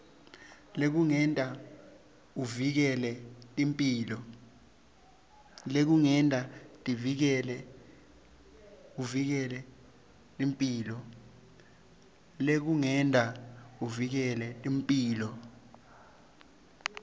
lekungenta uvikele timphilo